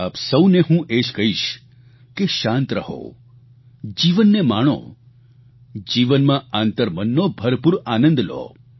આપ સૌને હું એ જ કહીશ કે શાંત રહો જીવનને માણો જીવનમાં આંતરમનનો ભરપૂર આનંદ લો